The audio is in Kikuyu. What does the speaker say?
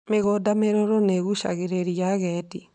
Mĩgũnda mĩruru nĩ ĩgucagĩrĩria agendi.